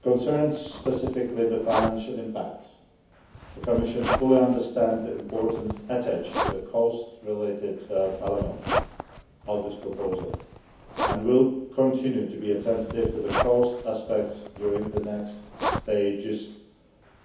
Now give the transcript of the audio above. Concerning specifically the financial impacts, the Commission fully understands the importance attached to the cost related elements of this proposal, and will continue to be attentive to the cost aspects during the next stages